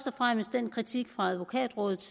og fremmest den kritik fra advokatrådet